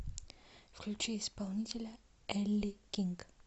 включи исполнителя элли кинг